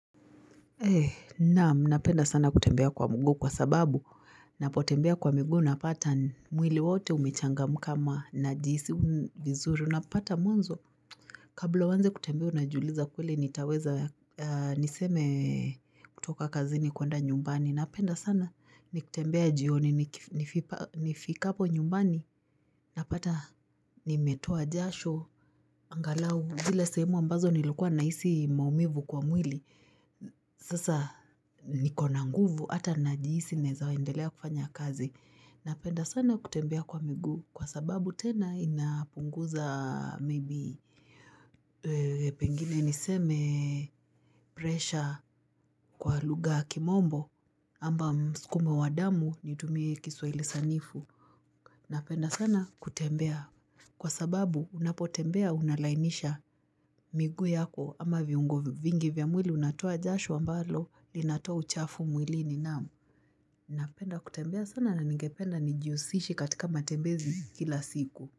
Naam napenda sana kutembea kwa mguu kwa sababu Napotembea kwa miguu napata mwili wote umechangamka ama na jihisi vizuri unapata mwanzo Kabla uanze kutembea unajiuliza kweli nitaweza niseme kutoka kazini kwenda nyumbani napenda sana nikitembea jioni nifikapo nyumbani napata nimetoa jashu angalau zile sehemu ambazo nilikuwa nahisi maumivu kwa mwili Sasa nikona nguvu ata najihisi naeza endelea kufanya kazi. Napenda sana kutembea kwa miguu kwa sababu tena inapunguza maybe pengine niseme pressure kwa lugha yakimombo amba mskumo wa damu nitumie kiswa ilisanifu. Napenda sana kutembea. Kwa sababu unapotembea unalainisha miguu yako ama viungo vingi vya mwili unatoa jasho ambalo linatoa uchafu mwili ni naam. Napenda kutembea sana na ningependa nijiusishe katika matembezi kila siku.